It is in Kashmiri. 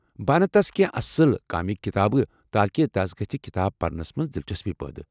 بہٕ انہٕ تس کٮ۪نٛہہ اصٕل کامک کتابہٕ تِہ تاكہِ تس گژھِِ کتابہٕ پرنس منٛز دلچسپی پٲدٕ ۔